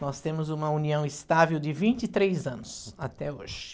Nós temos uma união estável de vinte e três anos até hoje.